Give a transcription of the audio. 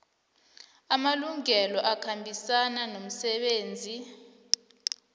amalungelo akhambisana nomsebenzi